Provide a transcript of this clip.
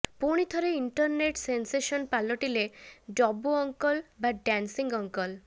ପୁଣି ଥରେ internet sensation ପାଲଟିଲେ ଡବୁ ଅଙ୍କଲ୍ ବା ଡ୍ଯାନ୍ସିଂ ଅଙ୍କଲ୍